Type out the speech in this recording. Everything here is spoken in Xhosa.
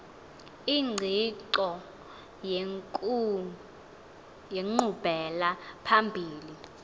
ingqiqo yenkqubela phambili